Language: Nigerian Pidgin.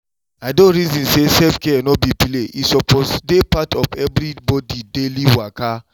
i dey reason say self-care no be play e suppose dey part of everybody daily waka!